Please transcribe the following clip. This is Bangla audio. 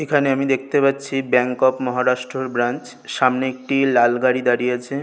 এখানে আমি দেখতে পাচ্ছি ব্যাঙ্ক অফ মহারাষ্ট্র এর ব্রাঞ্চ সামনে একটি লাল গাড়ি দাঁড়িয়ে আছে।